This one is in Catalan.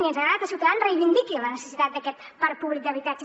i ens agrada que ciutadans reivindiqui la necessitat d’aquest parc públic d’habitatge